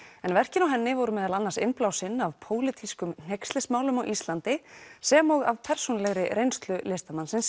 en verkin á henni voru meðal annars innblásinn af pólitískum hneykslismálum á Íslandi sem og af persónulegri reynslu listamannsins